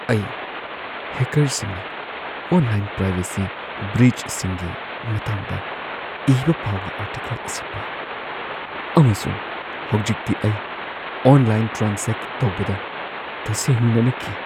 ꯑꯩ ꯍꯦꯀꯔꯁꯤꯡꯅ online privacy ꯕ꯭ꯔꯤꯆꯁꯤꯡꯒꯤ ꯃꯇꯥꯡꯗ ꯏꯕ ꯄꯥꯎꯒꯤ ꯑꯥꯔꯇꯤꯀꯜ ꯑꯁꯤ ꯄꯥꯏ, ꯑꯃꯁꯨꯡ ꯍꯧꯖꯤꯛꯇꯤ ꯑꯩ ꯑꯣꯟꯂꯥꯏꯟ ꯇ꯭ꯔꯥꯟꯖꯦꯛ ꯇꯧꯕꯗ ꯇꯁꯦꯡꯅꯅ ꯀꯤ꯫ (ꯃꯔꯨꯞ 1)